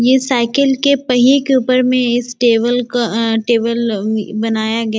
ये साईकिल के पहिये के ऊपर में इस टेबल का अ टेबल अ बनाया गया --